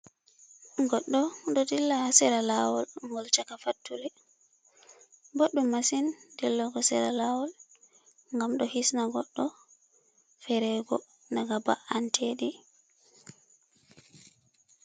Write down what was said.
Goɗɗo do ɗo dilla ha sira lawol gol chaka fattuli, boddum masin dillugo sira lawol gam ɗo hisna goɗɗo ferego daga baantedi.